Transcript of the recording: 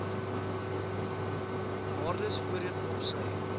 waardes voorheen opsy